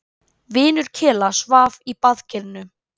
Vinur Kela svaf í baðkerinu.